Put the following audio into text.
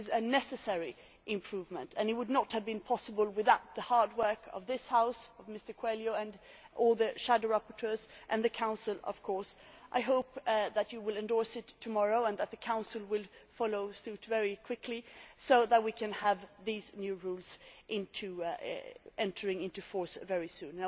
It is a necessary improvement and it would not have been possible without the hard work of this House, of Mr Coelho and all the shadow rapporteurs, and the Council. I hope that you will endorse it tomorrow and that the Council will follow it through very quickly, so that we can have these new rules entering into force very soon.